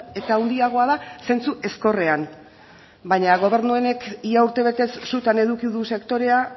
eta handiagoa da zentzu ezkorrean baina gobernu honek ia urtebetez sutan eduki du sektorea